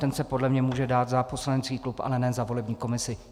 Ten se podle mě může dát za poslanecký klub, ale ne za volební komisi.